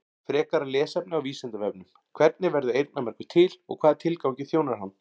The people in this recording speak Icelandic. Frekara lesefni á Vísindavefnum: Hvernig verður eyrnamergur til og hvaða tilgangi þjónar hann?